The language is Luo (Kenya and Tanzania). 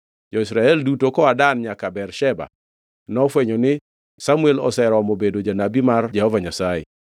Jo-Israel duto koa Dan nyaka Bersheba, nofwenyo ni Samuel oseromo bedo janabi mar Jehova Nyasaye.